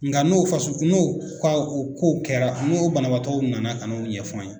Nga n'o fasu n'o ka o kow kɛra n'o banabaatɔw nana ka n'o ɲɛfɔ an ye.